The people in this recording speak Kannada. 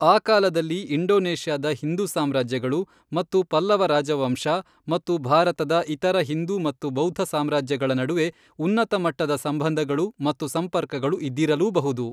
ಆ ಕಾಲದಲ್ಲಿ ಇಂಡೋನೇಷ್ಯಾದ ಹಿಂದೂ ಸಾಮ್ರಾಜ್ಯಗಳು ಮತ್ತು ಪಲ್ಲವ ರಾಜವಂಶ ಮತ್ತು ಭಾರತದ ಇತರ ಹಿಂದೂ ಮತ್ತು ಬೌದ್ಧ ಸಾಮ್ರಾಜ್ಯಗಳ ನಡುವೆ ಉನ್ನತ ಮಟ್ಟದ ಸಂಬಂಧಗಳು ಮತ್ತು ಸಂಪರ್ಕಗಳು ಇದ್ದಿರಲೂಬಹುದು.